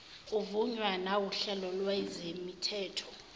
uvunywa nawuhlelo lwezemithetho